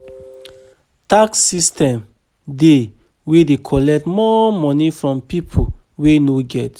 Tax system dey wey de collect more money from pipo wey no get